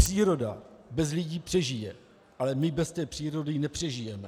Příroda bez lidí přežije, ale my bez té přírody nepřežijeme.